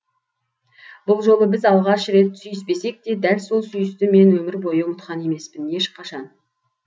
бұл жолы біз алғаш рет сүйіспесек те дәл сол сүйісті мен өмір бойы ұмытқан емеспін ешқашан